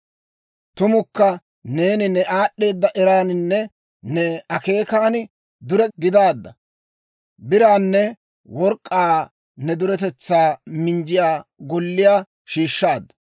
Tumukka neeni ne aad'd'eeda eraaninne ne akeekan dure gidaadda; biraanne work'k'aa ne duretaa minjjiyaa golliyaa shiishshaadda.